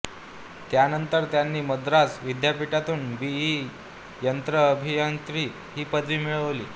त्यानंतर त्यांनी मद्रास विद्यापीठातून बी ई यंत्र अभियांत्रिकी ही पदवी मिळवली